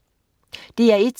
DR1: